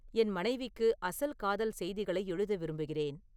என் மனைவிக்கு அசல் காதல் செய்திகளை எழுத விரும்புகிறேன்